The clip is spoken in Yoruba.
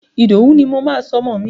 Ìdòwú ni mo máa sọ ọmọ mi.